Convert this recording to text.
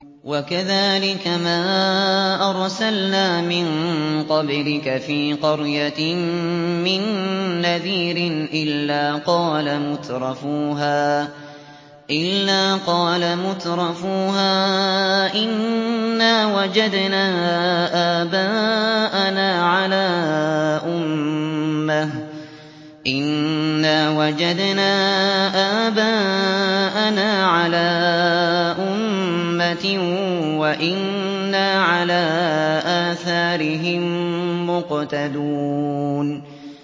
وَكَذَٰلِكَ مَا أَرْسَلْنَا مِن قَبْلِكَ فِي قَرْيَةٍ مِّن نَّذِيرٍ إِلَّا قَالَ مُتْرَفُوهَا إِنَّا وَجَدْنَا آبَاءَنَا عَلَىٰ أُمَّةٍ وَإِنَّا عَلَىٰ آثَارِهِم مُّقْتَدُونَ